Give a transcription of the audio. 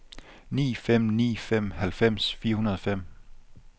ni fem ni fem halvfems fire hundrede og fem